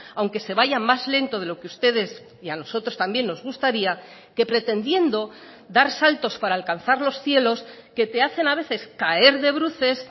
aunque se vaya más lento de lo que ustedes y a nosotros también nos gustaría que pretendiendo dar saltos para alcanzar los cielos que te hacen a veces caer de bruces